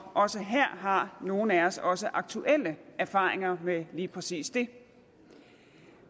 også her har nogle af os os aktuelle erfaringer med lige præcis det